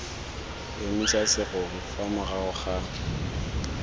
emisa serori fa morago ga